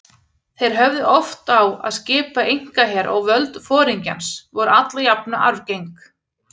Þeir höfðu oft á að skipa einkaher og völd foringjans voru alla jafna arfgeng.